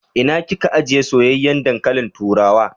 Ina kin ka ajiye soyayyen dankalin turawa?